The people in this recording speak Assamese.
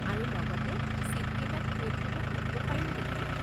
আৰু লগতে, ছিট কেইটা ক'ত হ'ব সুধিব পাৰিম নেকি?